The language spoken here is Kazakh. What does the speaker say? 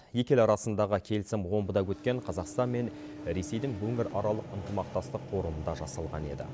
екі ел арасындағы келісім омбыда өткен қазақстан мен ресейдің өңіраралық ынтымақтастық форумында жасалған еді